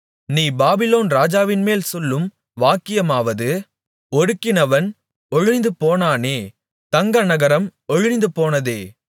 நீ பாபிலோன் ராஜாவின்மேல் சொல்லும் வாக்கியமாவது ஒடுக்கினவன் ஒழிந்துபோனானே தங்க நகரம் ஒழிந்துபோனதே